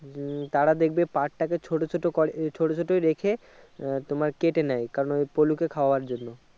হম তারা দেখবে পাট টাকে ছোট্ট ছোট্ট করে ই ছোট ছোট রেখে আহ তোমার কেটে নেয় কারণ ওই পলুকে খাওয়ার জন্য।